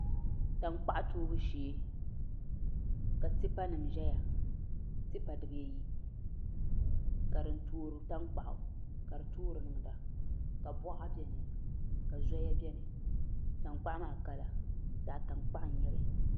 Tankpaɣu toobu shee ka tipa nim ʒɛya tipa dibayi ka din toori tankpaɣu ka di toori niŋda ka boɣa biɛni ka zoya biɛni tankpaɣu maa zaɣ tankpaɣu n nyɛli